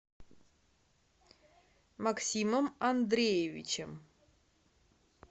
максимом андреевичем